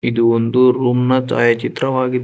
ಇದು ಒಂದು ರೂಮ್ ನ ಛಾಯ ಚಿತ್ರವಾಗಿದೆ.